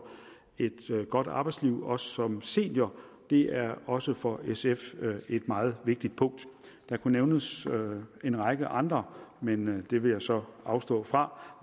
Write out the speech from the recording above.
et godt arbejdsliv også som senior er også for sf et meget vigtigt punkt der kunne nævnes en række andre men det vil jeg så afstå fra